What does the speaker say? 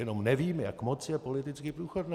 Jenom nevím, jak moc je politicky průchodné.